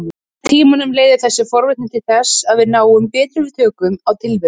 Með tímanum leiðir þessi forvitni til þess að við náum betri tökum á tilverunni.